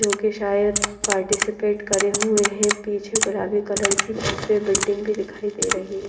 क्योंकि शायद पार्टिसिपेट करे हुए हैं पीछे गुलाबी कलर की सबसे बिल्डिंग भी दिखाई दे रही--